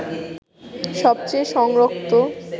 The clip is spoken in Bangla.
সবচেয়ে সংরক্ত